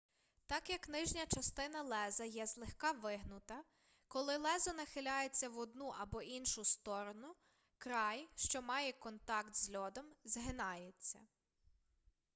так як нижня частина леза є злегка вигнута коли лезо нахиляється в одну або іншу сторону край що має контакт з льодом згинається